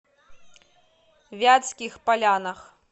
вятских полянах